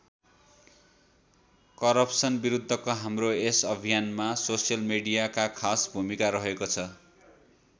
Corruption बिरुद्धको हाम्रो यस अभियानमा सोसल मीडियाका खास भूमिका रहेको छ।